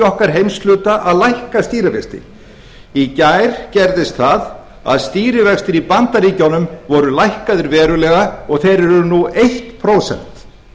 okkar heimshluta að lækka stýrivexti í gær gerðist það að stýrivextir í bandaríkjunum voru lækkaðir verulega og þeir eru nú eitt prósent